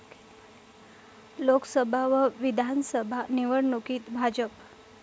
लोकसभा व विधानसभा निवडणुकीत भाजप